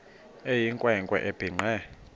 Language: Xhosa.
eyinkwe nkwe ebhinqe